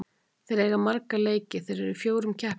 Þeir eiga marga leiki, þeir eru í fjórum keppnum.